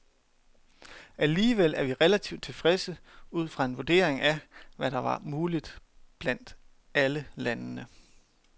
Alligevel er vi relativt tilfredse ud fra en vurdering af, hvad der var muligt blandt alle landene.